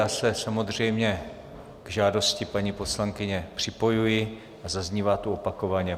Já se samozřejmě k žádosti paní poslankyně připojuji a zaznívá tu opakovaně.